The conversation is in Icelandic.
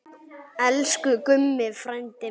Elsku Gummi frændi minn.